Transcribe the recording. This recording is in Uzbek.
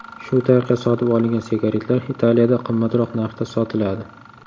Shu tariqa sotib olingan sigaretlar Italiyada qimmatroq narxda sotiladi.